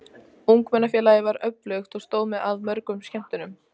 Ungmennafélagið var öflugt og stóð að mörgum skemmtunum.